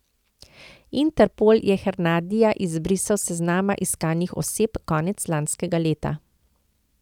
Interpol je Hernadija izbrisal s seznama iskanih oseb konec lanskega leta.